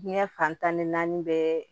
Diɲɛ fantan ni naani bɛɛ